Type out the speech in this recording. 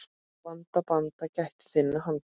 Vanda, banda, gættu þinna handa.